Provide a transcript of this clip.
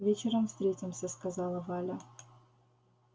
вечером встретимся сказала валя